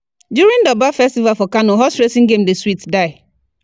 during Durbar festival for Kano, horse racing game dey sweet die